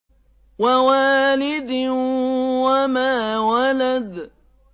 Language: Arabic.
وَوَالِدٍ وَمَا وَلَدَ